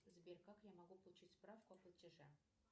сбер как я могу получить справку о платеже